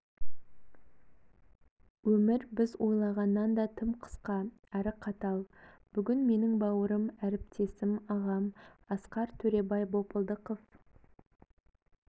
өмір біз ойлағаннан да тым қысқа әрі қатал бүгін менің бауырым әріптесім ағам асқар төребай бопылдықов